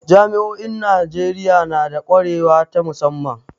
Jami'o'in Najeriya na da kwarewa ta musamman.